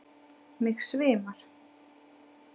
Mig svimar.